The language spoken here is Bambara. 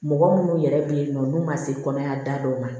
Mɔgɔ munnu yɛrɛ be yen nɔ n'u ma se kɔnɔya da dɔ ma